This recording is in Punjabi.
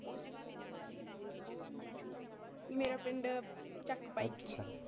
ਮੇਰਾ ਪਿੰਡ ਚੱਕ ਭਾਈਕੇ।